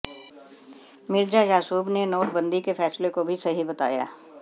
मिर्जा यासूब ने नोट बंदी के फैसले को भी सही बताया